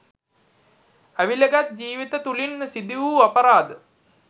ඇවිළගත් ජීවිත තුළින් සිදුවූ අපරාධ